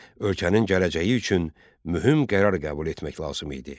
Ölkənin gələcəyi üçün mühüm qərar qəbul etmək lazım idi.